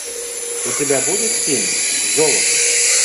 у тебя будет фильм золото